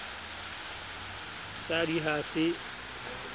sa d i ha se